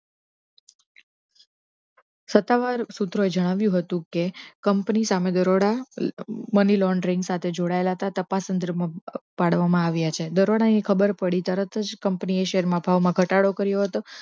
સત્તાવાર સુત્રે જણાવ્યુ હતુ કે કંપની સામે દરોળા money laundering સાથે જોડાયેલા ન તપાસ કેન્દ્ર મા પાડવામા આવ્યા છે દરોળા ની ખબર પડી તરત જ કંપની ના શેર મા ભાવ ઘટાડો હતો